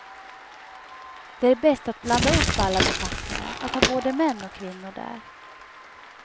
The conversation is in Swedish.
Det bästa är att blanda upp alla befattningar, att ha både män och kvinnor där.